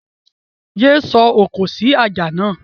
Yé sọ òkò sí ajá náà!